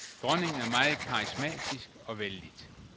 Dronningen er meget karismatisk og vellidt.